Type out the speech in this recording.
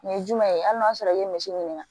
Nin ye jumɛn ye hali n'a sɔrɔ i ye misi ɲini